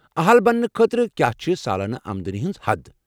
اہل بننہٕ خٲطرٕ کیا چھ سالانہٕ آمدنی ہنٛز حد؟